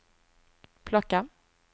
plocka